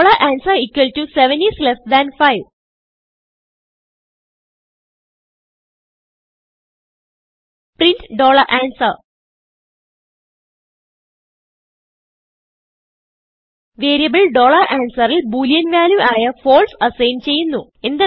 answer 75 print answer variable answerൽ Boolean value ആയ false assign ചെയ്യുന്നു